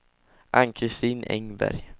Ann-Christin Engberg